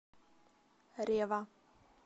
рева